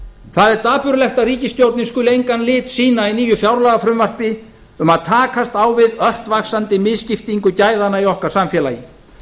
það er dapurlegt að ríkisstjórnin skuli engan lit sýna í nýju fjárlagafrumvarpi um að takast á við ört vaxandi misskiptingu gæðanna í okkar samfélagi